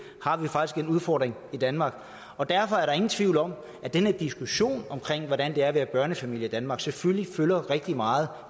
har vi faktisk en udfordring i danmark derfor er der ingen tvivl om at den her diskussion om hvordan det er at være børnefamilie i danmark selvfølgelig fylder rigtig meget